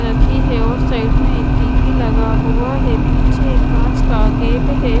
रखी है और साइड में एक टी_वी लगा हुआ है पीछे एक कांच का गेट है।